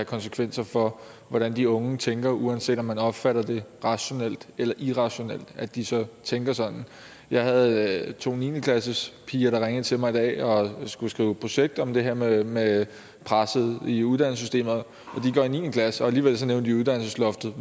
konsekvenser for hvordan de unge tænker uanset om man opfatter det rationelt eller irrationelt at de så tænker sådan jeg havde to niende klassespiger der ringede til mig i dag og som skulle skrive projekt om det her med med presset i uddannelsessystemet de går i niende klasse og alligevel nævnte de uddannelsesloftet